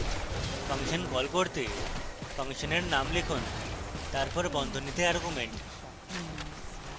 function call করতে ফাংশনের name লিখুন তারপর বন্ধনীতে arguments